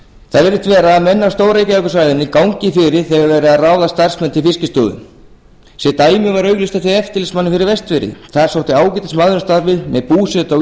það virðist vera að menn af stór reykjavíkursvæðinu gangi fyrir þegar verið er að ráða starfsmenn til fiskistofu sem dæmi var auglýst eftir eftirlitsmanni fyrir vestfirði þar sótti ágætismaður um starfið með búsetu á